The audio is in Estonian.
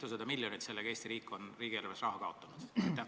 Mitusada miljonit on Eesti riik oma riigieelarves kaotanud?